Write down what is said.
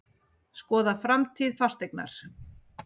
Skoða framtíð Fasteignar